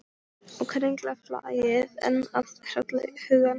Og kerlingarflagðið enn að hrella hugann.